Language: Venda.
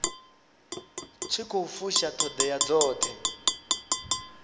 tshi khou fusha ṱhoḓea dzoṱhe